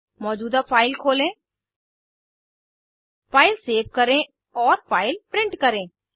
मौजूदा फाइल खोलें file save करें औए फाइल प्रिंट करें